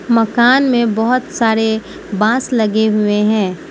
मकान में बहुत सारे बांस लगे हुए हैं।